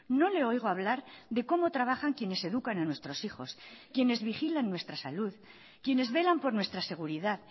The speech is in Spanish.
no le oigo hablar de cómo trabajan quienes educan a nuestros hijos quienes vigilan nuestra salud quienes velan por nuestra seguridad